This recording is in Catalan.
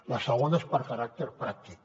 la segona és de caràcter pràctic